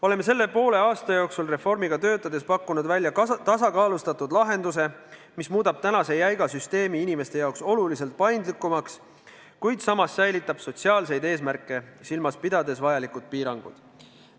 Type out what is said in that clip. Oleme selle poole aasta jooksul reformi kallal töötades pakkunud välja tasakaalustatud lahenduse, mis muudab praeguse jäiga süsteemi inimeste jaoks oluliselt paindlikumaks, kuid samas säilitab sotsiaalseid eesmärke silmas pidades vajalikud piirangud.